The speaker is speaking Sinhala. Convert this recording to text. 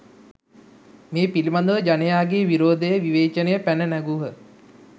මේ පිළීබඳව ජනයාගේ විරෝධය විවේචනය පැන නැඟූහ.